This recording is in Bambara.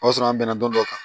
O y'a sɔrɔ an bɛnna dɔn dɔ kan